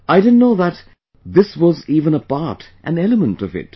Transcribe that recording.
I didn't know that this was even a part, an element of it